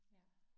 Ja